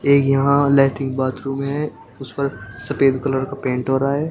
एक यहां lettering bathroom है। उस पर सफेद कलर का पेंट हो रहा है।